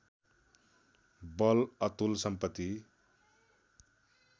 बल अतुल सम्पत्ति